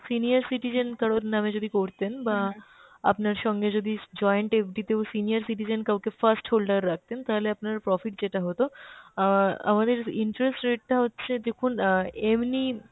senior citizen কারোর নামে যদি করতেন বা আপনার সঙ্গে যদি joint FD তেও senior citizen কাওকে first holder রাখতেন তাহলে আপনার profit যেটা হত অ্যাঁ আমাদের interest rate টা হচ্ছে দেখুন অ্যাঁ এমনি